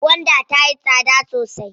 Gwanda tayi tsada sosai.